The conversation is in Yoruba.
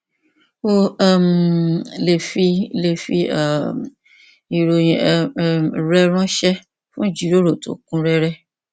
o um lè fi lè fi um ìròyìn um rẹ ránṣẹ fún ìjíròrò tó kún rẹrẹ